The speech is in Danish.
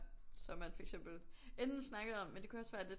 Så man for eksempel enten snakkede om men det kunne også være lidt